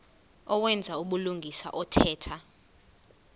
owenza ubulungisa othetha